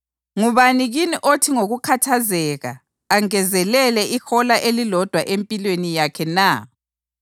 Ngubani kini othi ngokukhathazeka angezelele ihola elilodwa empilweni yakhe na?